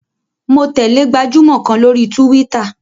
Mo tẹ̀lẹ́ gbajúmọ̀ kan lórí túwítà